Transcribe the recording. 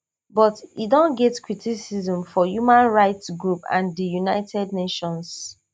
but e don get criticism from human rights groups and di united nations